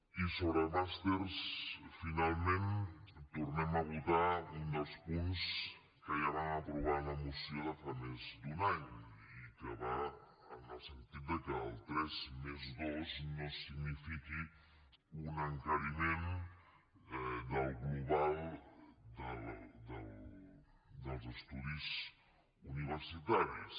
i sobre màsters finalment tornem a votar un dels punts que ja vam aprovar amb la moció de fa més d’un any i que va en el sentit de que el tres+dos no signifiqui un encariment del global dels estudis universitaris